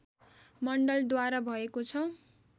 मण्डलद्वारा भएको छ